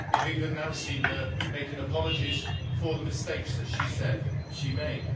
We have even now seen her making apologies for the mistakes that she said she made.